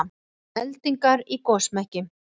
Eldingar í gosmekki